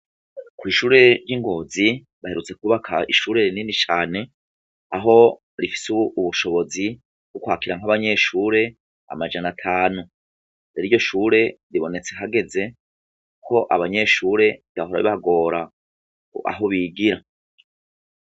Kwishure ry' Ingozi baherutse kwubaka ishure rinini cane aho rifise ubushobozi bwo kwakira nk' abanyeshure amajana atanu rero iryo shure ribonetse hageze abanyeshure vyahora bibagora aho bigira.